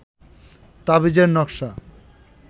তাবিজের নকশা